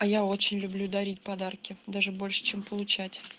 а я очень люблю дарить подарки даже больше чем получать